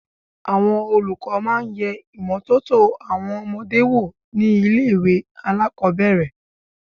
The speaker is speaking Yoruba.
Àwọn olùkọ́ máa yẹ ìmọ́tótó àwọn ọmọdé wò ní ilé ìwẹ̀ alákòbẹ̀rẹ̀.